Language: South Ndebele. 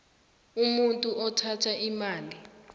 umuntu othatha imali